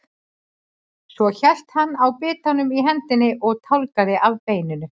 Svo hélt hann á bitanum í hendinni og tálgaði af beininu.